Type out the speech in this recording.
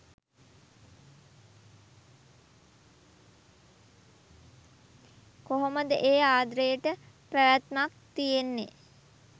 කොහොමද ඒ ආද්‍රේට පැවැත්මක් තියෙන්නෙ